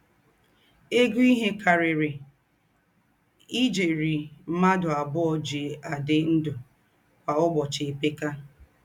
Égó íhe kàrírí íjérì m̀ádụ́ àbùọ̀ jí àdí ndụ́ kwá ụ̀bọ́chì èpékà.